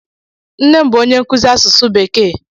Nne m bụ onye nkụzi asụsụ bekee.